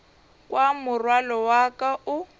kwa morwalo wa ka o